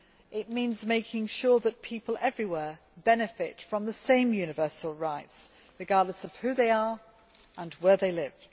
It means making sure that people everywhere benefit from the same universal rights, regardless of who they are or where they live.